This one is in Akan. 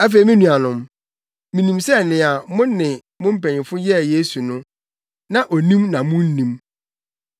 “Afei me nuanom, minim sɛ nea mo ne mo mpanyimfo yɛɛ Yesu no, na onim na munnim.